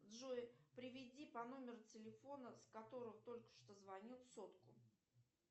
джой переведи по номеру телефона с которого только что звонил сотку